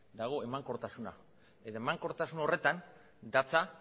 dago emankortasuna eta emankortasun horretan datza